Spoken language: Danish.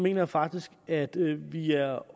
jeg faktisk at vi er